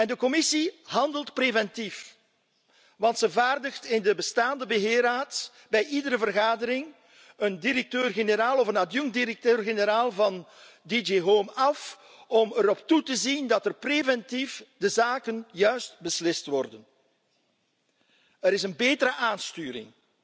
De Commissie handelt nu preventief, want ze vaardigt in de bestaande beheerraad bij iedere vergadering een directeur generaal of een adjunct directeur generaal van DG Home af om erop toe te zien dat preventief de zaken juist beslist worden. Er is een betere aansturing